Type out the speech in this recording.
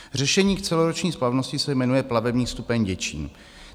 Řešení k celoroční splavnosti se jmenuje plavební stupeň Děčín.